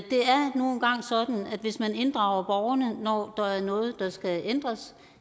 hvis man inddrager borgerne når der er noget der skal ændres